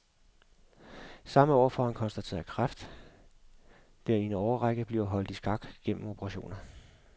Samme år får han konstateret kræft, der i en årrække bliver holdt i skak gennem operationer.